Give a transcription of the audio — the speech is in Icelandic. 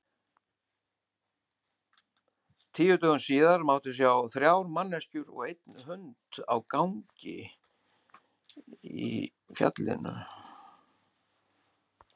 Tíu dögum síðar mátti sjá þrjár manneskjur og einn hund á gangi í